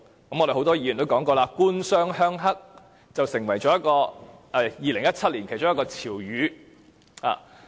我們很多議員也說過，"官商鄉黑"成為2017年其中一個潮語。